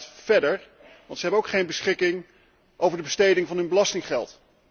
Maar het gaat verder, want zij hebben ook geen beschikking over de besteding van hun belastinggeld.